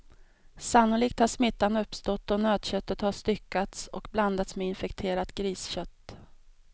Sannolikt har smittan uppstått då nötköttet har styckats och blandats med infekterat griskött.